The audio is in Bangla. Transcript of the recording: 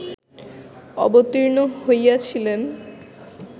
অবতীর্ণ হইয়াছিলেন